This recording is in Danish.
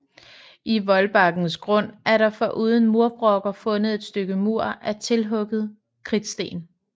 I voldbankens grund er der foruden murbrokker fundet et stykke mur af tilhugede kridtsten